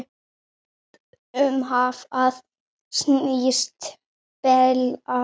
Um hvað snýst deilan?